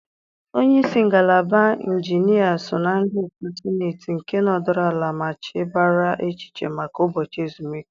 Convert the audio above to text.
Onye isi ngalaba injinia so na ndị otu Sịneetị nke nọdụrụ ala ma chebara echiche maka ụbọchị ezumike.